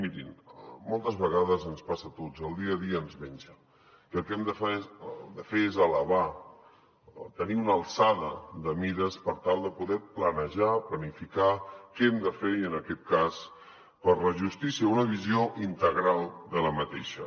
mirin moltes vegades ens passa a tots el dia a dia ens menja i el que hem de fer és elevar tenir una alçada de mires per tal de poder planejar planificar què hem de fer i en aquest cas per la justícia una visió integral d’aquesta